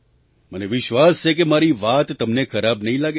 મને વિશ્વાસ છે કે મારી વાત તમને ખરાબ નહીં લાગે